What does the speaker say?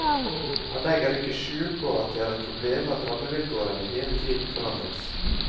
Han legger ikke skjul på at det er et problem at rammevilkårene hele tiden forandres.